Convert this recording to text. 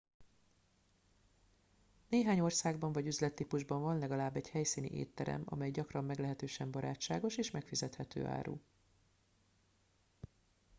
néhány országban vagy üzlettípusban van legalább egy helyszíni étterem amely gyakran meglehetősen barátságos és megfizethető árú